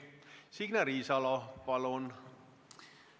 Signe Riisalo, palun!